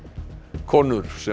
konur sem